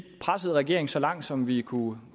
pressede regeringen så langt som vi kunne